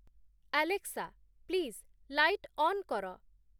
Alexa please light on କର